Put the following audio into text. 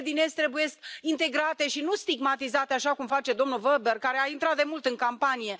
Țările din Est trebuie integrate și nu stigmatizate, așa cum face domnul Weber, care a intrat demult în campanie.